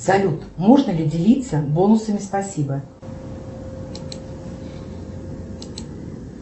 салют можно ли делиться бонусами спасибо